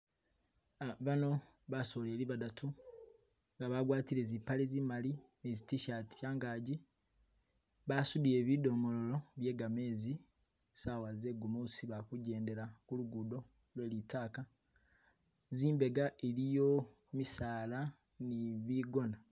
Bano basoleli badatu nga bagwatile zipale zimali ni zi'tishati kyangagi, basudile bidomololo bye'gamezi sawa zegumusi bali kuje'ndela ku lugudo lwelitaaka, zimbega iliyo misaala ni bigona